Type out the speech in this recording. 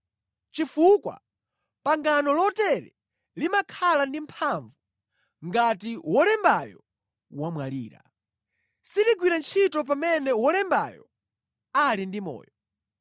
chifukwa pangano lotere limakhala ndi mphamvu ngati wolembayo wamwalira. Siligwira ntchito pamene wolembayo ali ndi moyo.